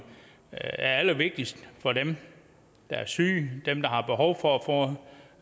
er allervigtigst for dem der er syge dem der har behov for